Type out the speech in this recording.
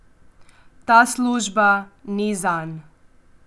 Ta služba ni zanj.